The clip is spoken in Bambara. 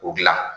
O dilan